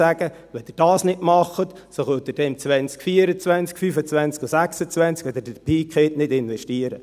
«Wenn ihr dies nicht macht, so könnt ihr dann im 2024, 2025 und 2026, wenn ihr den Peak habt, nicht investieren.